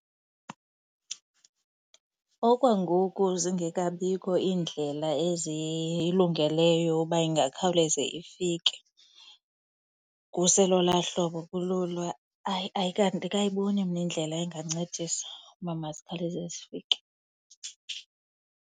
Okwangoku zingekabikho iindlela ezilungeleyo uba ingakhawuleze ifike, kuselolaa hlobo kululo, hayi andikayiboni mna indlela engancedisa uba mazikhawuleze zifike.